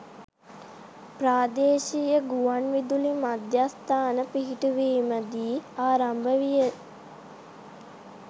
ප්‍රාදේශීය ගුවන්විදුලි මධ්‍යස්ථාන පිහිටුවීම දී ආරම්භ විය.